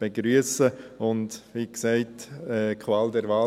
begrüssen und hatten, wie gesagt, die Qual der Wahl.